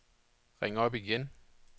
ring op igen